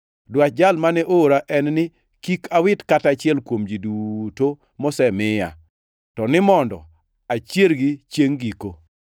Dwach Jal mane oora en ni kik awit kata achiel kuom ji duto mosemiya, to ni mondo achiergi chiengʼ giko.